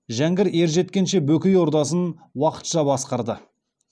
жәңгір ержеткенше бөкей ордасын уақытша басқарды